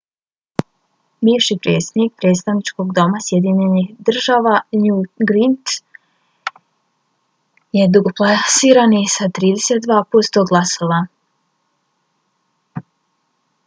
bivši predsjednik predstavničkog doma sjedinjenih država newt gingrich je drugoplasirani sa 32 posto glasova